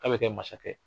K'a bɛ kɛ masakɛ ye